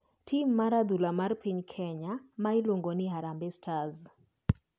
Tim mar adhula mar piny kenya ma iluongo ni harambe e stars,